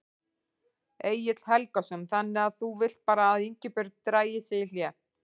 Egill Helgason: Þannig að þú vilt bara að Ingibjörg dragi sig í hlé?